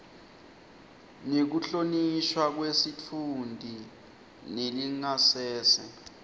nekuhlonishwa kwesitfunti nelingasese